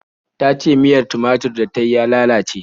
Ta ce miyar tumatur da ta yi ya lalace.